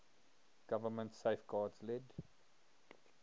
government safeguards led